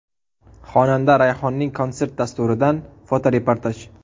Xonanda Rayhonning konsert dasturidan fotoreportaj.